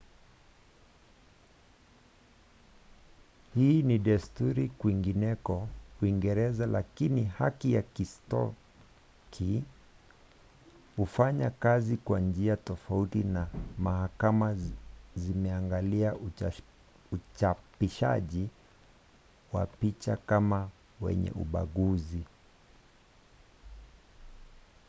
hii ni desturi kwingineko uingereza lakini haki ya kiskoti hufanya kazi kwa njia tofauti na mahakama zimeangalia uchapishaji wa picha kama wenye ubaguzi